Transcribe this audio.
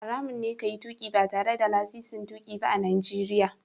Haramun ne ka yi tuƙi ba tare da lasisin tuƙi ba a Najeriya.